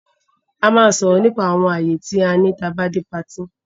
A máa sòrò nípa àwon ààyè ti a ní tá bá dé party